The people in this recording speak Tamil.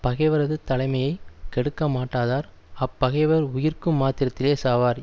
பகைவரது தலைமையை கெடுக்க மாட்டாதார் அப்பகைவர் உயிர்க்கும் மாத்திரத்திலே சாவார்